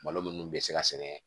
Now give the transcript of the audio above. Malo minnu bɛ se ka sɛnɛ